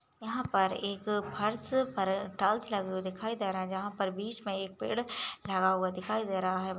पर एक फर्स पर टाइल्स लगे हुए दिखाई दे रहे है जहा पर बीच मे एक पेड लगा हुआ दिखाई दे रहा है।